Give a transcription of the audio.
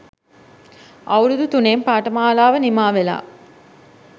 අවුරුදු තුනෙන් පාඨමාලාව නිමා වෙලා